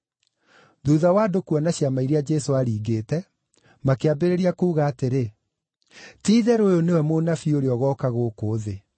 Thuutha wa andũ kuona ciama iria Jesũ aaringĩte, makĩambĩrĩria kuuga atĩrĩ, “Ti-itherũ ũyũ nĩwe mũnabii ũrĩa ũgooka gũkũ thĩ.”